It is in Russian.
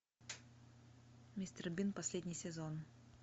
мистер бин последний сезон